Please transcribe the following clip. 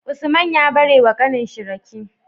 Usman ya bare wa kanin shi rake